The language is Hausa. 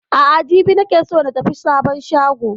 A'a jibi ne nake so na tafi sabon shagon